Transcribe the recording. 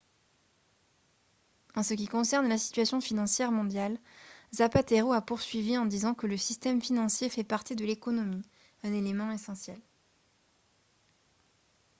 "en ce qui concerne la situation financière mondiale zapatero a poursuivi en disant que "le système financier fait partie de l’économie un élément essentiel.